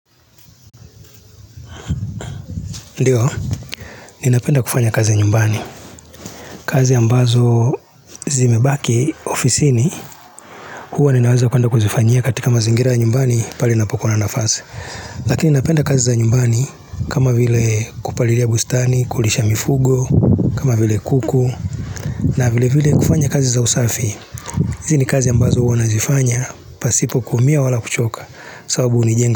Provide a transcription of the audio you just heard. Ndiyo, ninapenda kufanya kazi nyumbani, kazi ambazo zimebaki ofisini, huwa ninaweza kuanda kuzifanyia katika mazingira nyumbani pali napokua na nafasi. Lakini napenda kazi za nyumbani kama vile kupalilia bustani, kulisha mifugo, kama vile kuku, na vile vile kufanya kazi za usafi. Hizi ni kazi ambazo huwa nazifanya, pasipokuumia wala kuchoka, sababu unijenga.